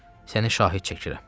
Səni şahid çəkirəm.